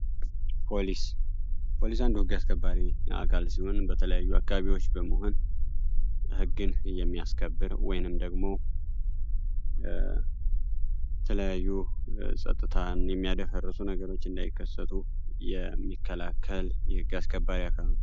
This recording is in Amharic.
ፖሊስ ፖሊስ አንዱ የህግ አስከባሪዎች አካል ሲሆን በተለያዩ ቦታዎች በመሆን ህግን የሚያስከብሩ ወይም ደግሞ የተለያዩ ጸጥታን የሚያደፈርሱ ነገሮች እንዳይፈተሩ እና እንዳይከሰቱ የሚከላከል የህግ አስከባሪ አካል ነው።